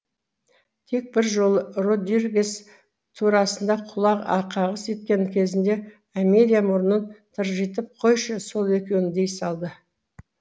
тек бір жолы родригес турасында құлақ қағыс еткен кезінде амелия мұрнын тыржитып қойшы сол екеуін дей салды